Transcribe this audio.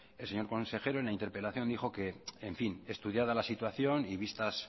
el señor consejero en la interpelación dijo que en fin estudiada la situación y vistas